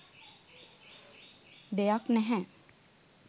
දෙයක් නැහැ